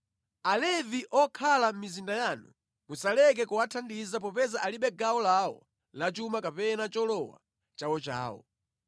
Alevi okhala mʼmizinda yanu musaleke kuwathandiza popeza alibe gawo lawo la chuma kapena cholowa chawochawo.